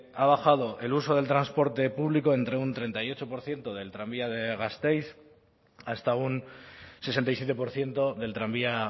ha bajado el uso del transporte público entre un treinta y ocho por ciento del tranvía de gasteiz hasta un sesenta y siete por ciento del tranvía